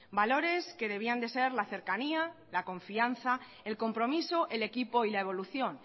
valores que debían de ser la cercanía la confianza el compromiso el equipo y la evolución